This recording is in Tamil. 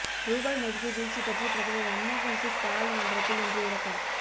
ரூபாய் மதிப்பு வீழ்ச்சி பற்றி பிரதமர் மன்மோகன்சிங் பாராளுமன்றத்தில் இன்று விளக்கம்